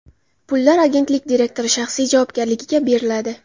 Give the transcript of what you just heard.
Pullar agentlik direktori shaxsiy javobgarligiga beriladi.